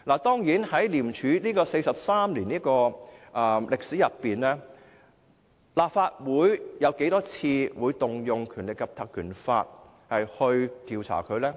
在廉署的43年歷史中，立法會曾多少次引用《立法會條例》進行調查呢？